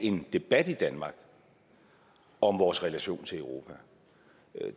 en debat i danmark om vores relation til europa